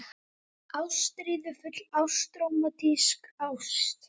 ÁSTRÍÐUFULL ÁST- RÓMANTÍSK ÁST